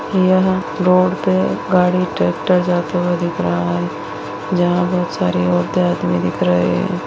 यह रोड पे गाड़ी ट्रैक्टर जाते हुए दिख रहा है जहाँ बहुत सारी औरतें आदमी दिख रहे हैं।